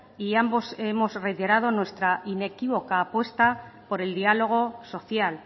y ambos hemos reiterado nuestra inequívoca apuesta por el diálogo social